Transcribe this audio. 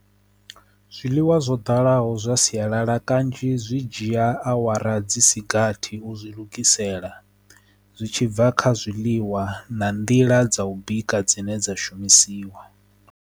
Zwiḽiwa zwo dalaho zwa sialala kanzhi zwi dzhia awara dzi sigathi u zwi lugisela zwi tshibva kha zwiḽiwa na nḓila dza u bika dzine dza shumisiwa.